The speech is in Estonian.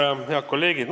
Head kolleegid!